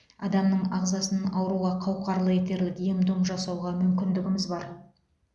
адамның ағзасын ауруға қауқарлы етерлік ем дом жасауға мүмкіндігіміз бар